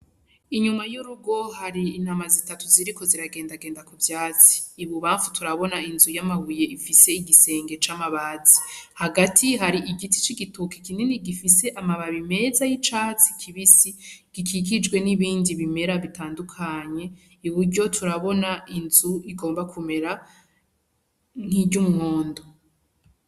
Inyuma y'urugo hari intama zitatu zirikio ziragenda genda ku vyatsi ibubanfu turabona inzu ifise igisenge c'amabati hagati hari igititoki kinini gifise amababi meshi y'icatsi kibisi gikikijwe n'ibindi bimera bitandukanye, Iburyo turabona inzu igomba kumera nkiryo umuhondo.